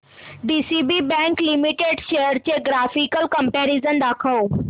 DCB bank limited shares चे graphical comparison दाखव